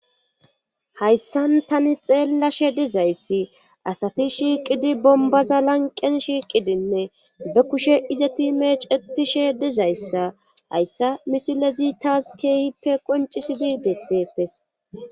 hayssan tani xeellashe dizayssi asati shiiqidi bombaza lanqen shiiqidinne be kushe izati meecetishe dizayssa hayssa misilezi taas keehippe qoncisidi bessetes